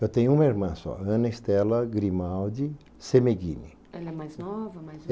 Eu tenho uma irmã só, Ana Estela Grimaldi Semeghini. Ela é mais nova, mais